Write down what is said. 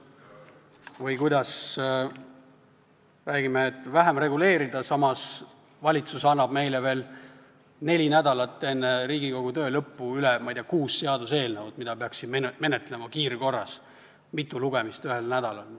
Või see, kui me räägime, et tuleb vähem reguleerida, samas annab valitsus meile neli nädalat enne Riigikogu töö lõppu üle, ma ei tea, kuus seaduseelnõu, mida peaks menetlema kiirkorras, mitu lugemist ühel nädalal.